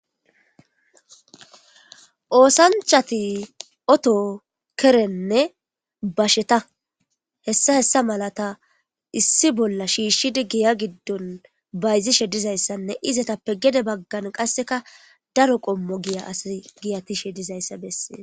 Oosanchati oto kerenne basheta hessa hessa malata issi bolla shiishshidi giya giddon bayzishe dizayssanne izetappe gede baggan qasseka daro qommo giya asa giyatishe dizayssa bessee